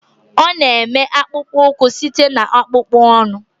Ọ na-eme akpụkpọ ụkwụ site na akpụkpọ anụ